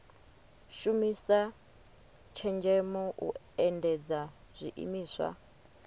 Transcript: shumisa tshenzhemo u endedza zwiimiswa